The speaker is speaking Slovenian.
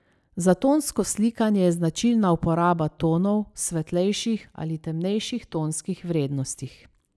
Za tonsko slikanje je značilna uporaba tonov v svetlejših ali temnejših tonskih vrednostih.